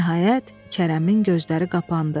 Nəhayət, Kərəmin gözləri qapandı.